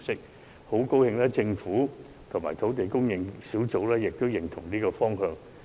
我很高興政府和土地供應專責小組均贊同這個方向。